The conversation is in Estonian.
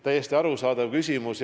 Täiesti arusaadav küsimus.